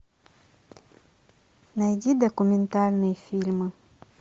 найди документальные фильмы